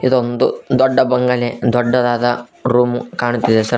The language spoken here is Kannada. ಇದೊಂದು ದೊಡ್ಡ ಬಂಗಲೆ ದೊಡ್ಡದಾದ ರೂಮ್ ಕಾಣ್ತಿದೆ ಸರ್.